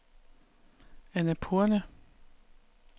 Annapurne